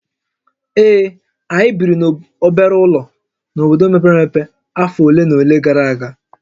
Ee, anyị biri n'obere ụlọ n'obodo mepere emepe afọ ole na ole gara aga